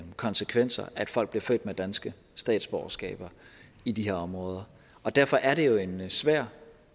konsekvenser at folk bliver født med danske statsborgerskaber i de her områder derfor er det jo en svær